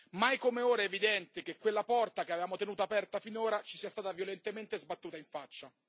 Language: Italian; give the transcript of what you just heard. Mai come ora è evidente che quella porta che avevamo tenuto aperta finora ci sia stata violentemente sbattuta in faccia.